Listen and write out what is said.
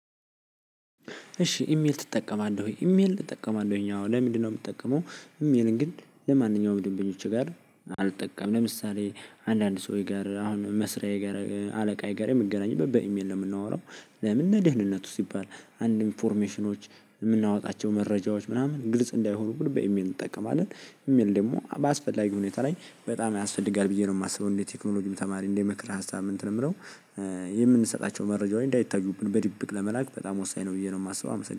እሺ ኢሜል ትጠቀማለህ? ኢሜል እጠቀማለሁኝ አወ ለምንድነው የምትጠቀመው? ይሄንን ግን ለማንኛውም ደንበኞች ጋር አልጠቀምም ለምሳሌ አንዳንድ ሰው ጋር አሁን መስሪያ ጋር አለቃ ጋር የምገናኘው በኢሜል ነው። የምናወራው ለምን ለደህንነቱ ሲባል እንዲሁም አኒፎርሜሽኖች የምናወጣቸው መረጃዎች ምናምን ግልጽ እንዳይሆኑብን በኢሜል እንጠቀማለን። ኢሜይል ደግሞ በአስፈላጊ ሁኔታ ላይ በጣም ያስፈልጋል ብዬ ነው የማስበው። እንደ ቴክኖሎጂም ተማሪ እንዴ ምክረ ሀሳብ እንትን የምለው የምንሰጣቸው መረጃወንች እንዳይታዩብን በድብቅ ለመላክ በጣም ወሳኝ ነው። ብዬ ነው የማስበው